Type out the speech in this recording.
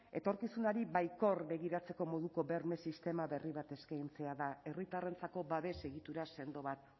etorkizunari baikor begiratzeko moduko berme sistema berri bat eskaintzea da herritarrentzako babes egitura sendo bat